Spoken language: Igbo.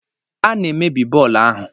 A na-emebi bọọlụ ahụ.